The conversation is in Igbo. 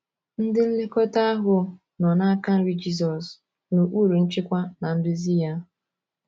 Ndị nlekọta ahụ nọ n’aka nri Jizọs — n’okpuru nchịkwa na nduzi ya.